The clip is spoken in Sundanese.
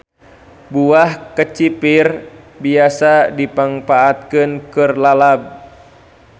Buah kecipir biasa dimangpaatkeun keur lalab.